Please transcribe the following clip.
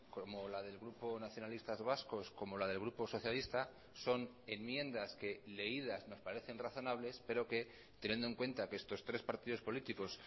como la del grupo nacionalistas vascos como la del grupo socialistas son enmiendas que leídas nos parecen razonables pero que teniendo en cuenta que estos tres partidos políticos